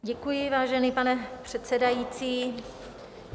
Děkuji, vážený pane předsedající.